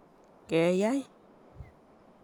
Keyai.